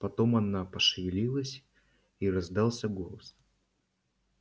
потом она пошевелилась и раздался голос